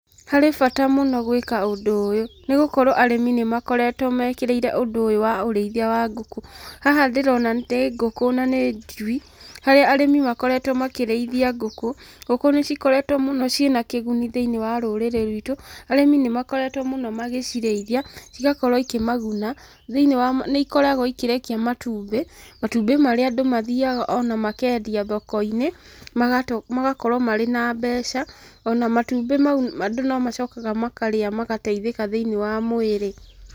Harĩ bata mũno gwĩka ũndũ ũyũ nĩ gũkorwo arĩmi nĩ makoretwo mekĩrĩire ũndũ ũyũ wa ũrĩithia wa ngũkũ. Haha ndĩrona nĩ ngũkũ na nĩ njui, harĩa arĩmi makoretwo makĩrĩithia ngũkũ. Ngũkũ nĩ cikoretwo mũno ciĩna kĩguni thĩinĩ wa rũrĩrĩ ruitũ, arĩmi nĩmakoretwo mũno magĩcirĩithia, cigakorwo ikĩmaguna, thĩiniĩ wa, nĩ ikoragwo ikĩrekia matumbĩ, matumbĩ marĩa andũ mathiaga ona makendia thoko-inĩ, magakorwo marĩ na mbeca, ona matumbĩ mau andũ no macokaga makarĩa magateithĩka thĩinĩ wa mwĩrĩ.